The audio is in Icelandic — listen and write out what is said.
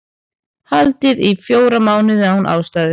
Haldið í fjóra mánuði án ástæðu